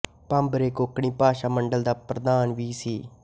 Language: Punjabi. ਭਾਂਬਰੇ ਕੋਂਕਣੀ ਭਾਸ਼ਾ ਮੰਡਲ ਦਾ ਪ੍ਰਧਾਨ ਵੀ ਸੀ